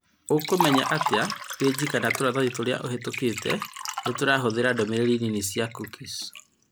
Ũkumenya atĩa peji kana tũratathi tũrĩa ũhetũkĩte nĩtũrahũthĩra ndũmĩrĩri nini cia cookies